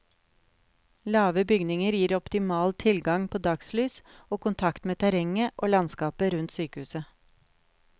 Lave bygninger gir optimal tilgang på dagslys, og kontakt med terrenget og landskapet rundt sykehuset.